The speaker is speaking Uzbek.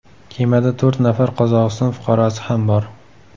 Kemada to‘rt nafar Qozog‘iston fuqarosi ham bor .